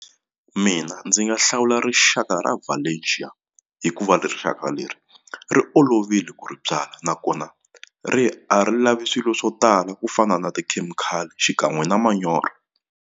Mina ndzi nga hlawula rixaka ra Valencia hikuva rixaka leri ri olovile ku ri byalwa nakona ri a ri lavi swilo swo tala ku fana na tikhemikhali xikan'we na manyoro.